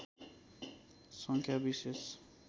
सङ्ख्या विशेष